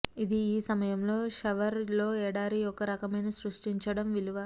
ఇది ఈ సమయంలో షవర్ లో ఎడారి ఒక రకమైన సృష్టించడం విలువ